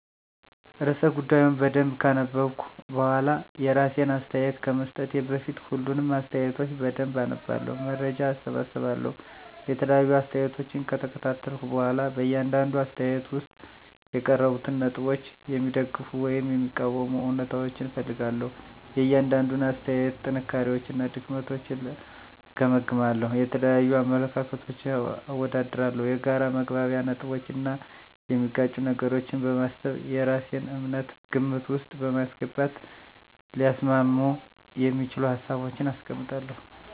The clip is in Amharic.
*ርዕሰ ጉዳዩን በደንብ ካነበብኩ በኋላ፤ *የራሴን አስተያየት ከመስጠቴ በፊት፦ ፣ሁሉንም አስተያየቶች በደንብ አነባለሁ፣ መረጃ እሰበስባለሁ የተለያዩ አስተያየቶችን ከተከታተልኩ በኋላ በእያንዳንዱ አስተያየት ውስጥ የቀረቡትን ነጥቦች የሚደግፉ ወይም የሚቃወሙ እውነታዎችን እፈልጋለሁ፤ * የእያንዳንዱን አስተያየት ጥንካሬዎችና ድክመቶችን እገመግማለሁ። * የተለያዩ አመለካከቶችን አወዳድራለሁ። የጋራ መግባቢያ ነጥቦችን እና የሚጋጩ ነገሮችን በማሰብ የራሴን እምነት ግምት ውስጥ በማስገባት ሊያስማሙ የሚችሉ ሀሳቦችን አስቀምጣለሁ።